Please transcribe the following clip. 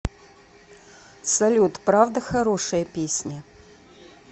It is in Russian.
салют правда хорошая песня